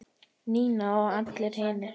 Nína og allir hinir.